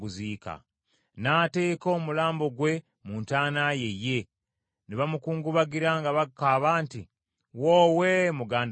N’ateeka omulambo gwe mu ntaana ye ye, ne bamukungubagira nga bakaaba nti, “Woowe, muganda wange!”